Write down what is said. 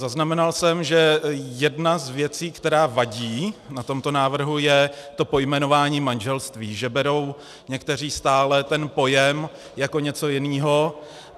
Zaznamenal jsem, že jedna z věcí, která vadí na tomto návrhu, je to pojmenování manželství, že berou někteří stále ten pojem jako něco jiného.